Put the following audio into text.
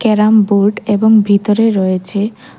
carrom board এবং ভিতরে রয়েছে--